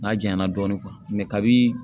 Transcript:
N'a janyana dɔɔnin kabini